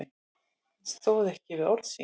Hann stóð ekki við orð sín.